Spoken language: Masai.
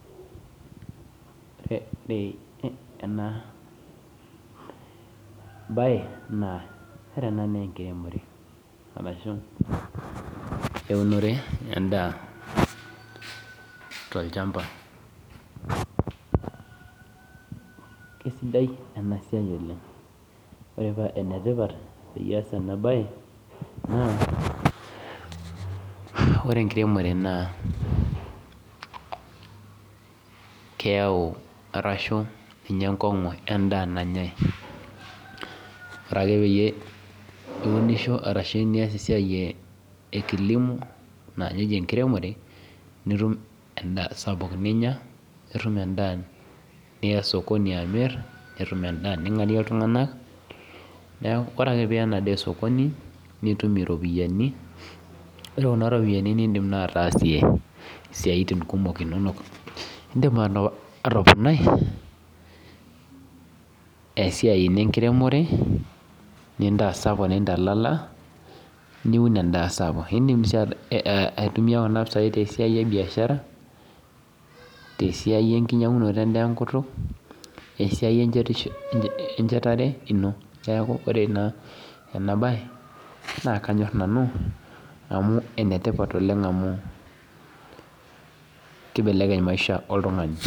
Enabae naa, ore ena nenkiremore arashu eunore endaa tolchamba. Kesidai enasiai oleng, ore pa enetipat peyie aas enabae, naa, ore enkiremore naa keeu arashu ninye enkong'u endaa nanyai. Ore peyie iunisho arashi nias esiai e kilimo na ninye eji enkiremore, nitum endaa sapuk ninya, nitum endaa niya osokoni amir, nitum endaa ning'arie iltung'anak, neeku ore ake piya enadaa osokoni, nitum iropiyiani. Ore kuna ropiyiani nidim naa ataasie isiaitin kumok inonok. Idim atoponai, esiai ino enkiremore, nintasapuk nintalala, niun endaa sapuk. Idim si aitumia kuna pisai tesiai ebiashara, tesiai enkinyang'unoto endaa enkutuk, esiai enchetare ino. Keeku ore ena enabae, naa kanyor nanu amu enetipat oleng amu kibelekeny maisha oltung'ani.